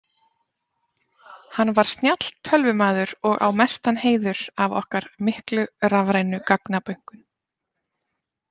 Hann var snjall tölvumaður og á mestan heiður af okkar miklu rafrænu gagnabönkum.